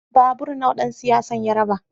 Babur nawa dan siyasar ya raba?